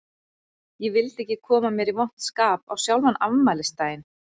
Ég vildi ekki koma mér í vont skap á sjálfan afmælisdaginn.